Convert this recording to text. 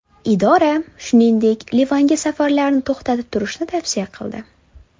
Idora, shuningdek, Livanga safarlarni to‘xtatib turishni tavsiya qildi.